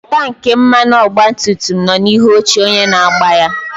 Tanki mmanụ ọgba tum tum nọ n'ihu oche onye na-agba ya.